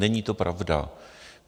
Není to pravda.